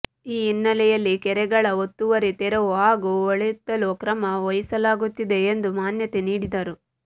ಈ ಹಿನ್ನೆಲೆಯಲ್ಲಿ ಕೆರೆಗಳ ಒತ್ತುವರಿ ತೆರವು ಹಾಗೂ ಹೂಳೆತ್ತಲು ಕ್ರಮ ವಹಿಸಲಾಗುತ್ತಿದೆ ಎಂದು ಮಾನ್ಯತೆ ನೀಡಿದರು